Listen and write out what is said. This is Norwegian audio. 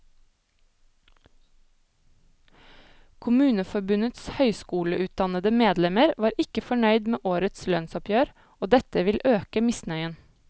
Kommuneforbundets høyskoleutdannede medlemmer var ikke fornøyd med årets lønnsoppgjør, og dette vil øke misnøyen.